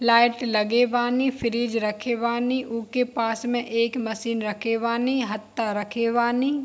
Light लगे बानी fridge रखे बानी उके पास में एक मशीन रखे बानी रखे बानी।